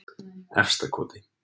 Efstakoti